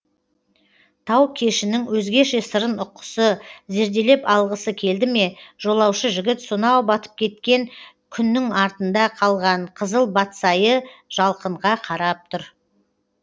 тау кешінің өзгеше сырын ұққысы зерделеп алғысы келді ме жолаушы жігіт сонау батып кеткен күннің артында қалған қызыл батсайы жалқынға қарап тұр